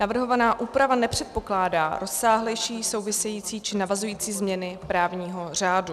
Navrhovaná úprava nepředpokládá rozsáhlejší související či navazující změny právního řádu.